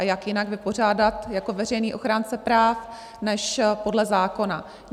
A jak jinak vypořádat jako veřejný ochránce práv než podle zákona.